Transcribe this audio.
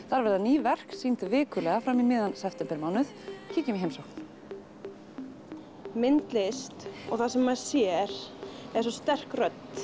þar verða ný verk sýnd vikulega fram í miðjan septembermánuð kíkjum í heimsókn myndlist og það sem maður sér er svo sterk rödd